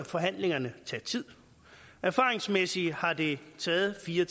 forhandlingerne tage tid erfaringsmæssigt har det taget fire